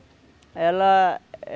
ela